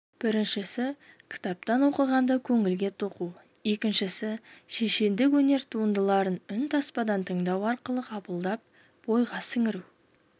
біріншісі кітаптан оқығанды көңілге тоқу екіншісі шешендік өнер туындыларын үн таспадан тыңдау арқылы қабылдап бойға сіңіру